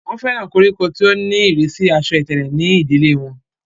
wọ́n fẹ́ràn koríko tí ó ní ìrísí asọ ìtẹ̀lẹ̀ ní ìdílé wọn